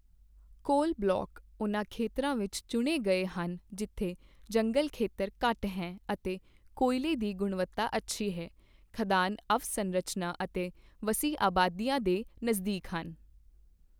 ਕੋਲ ਬਲਾਕ ਉਨ੍ਹਾਂ ਖੇਤਰਾਂ ਵਿੱਚ ਚੁਣੇ ਗਏ ਹਨ ਜਿੱਥੇ ਜੰਗਲ ਖੇਤਰ ਘੱਟ ਹੈ ਅਤੇ ਕੋਇਲੇ ਦੀ ਗੁਣਵਤਾ ਅੱਛੀ ਹੈ, ਖਦਾਨ ਅਵਸੰਰਚਨਾ ਅਤੇ ਵੱਸੀ ਆਬਾਦੀਆਂ ਦੇ ਨਜ਼ਦੀਕ ਹਨ।